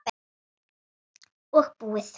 Og búið.